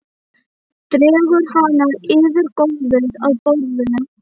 Dregur hana yfir gólfið að borðinu.